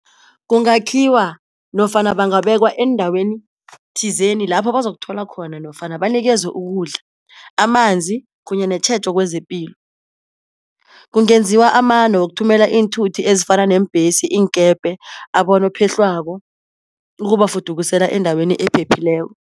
Kungakhiwa nofana bangabekwa eendaweni thizeni lapho bazokuthola khona nofana banikezwe ukudla, amanzi kunye netjhejo kwezepilo. Kungenziwa amano wokuthumela iinthuthi ezifana neembhesi, iinkepe, abonopehlwako ukubafudukusela endaweni ephephileko.